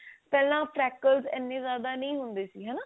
ਪਹਿਲਾਂ -pakles ਇੰਨੇ ਜਿਆਦਾ ਨਹੀ ਹੁੰਦੇ ਸੀ ਹਨਾ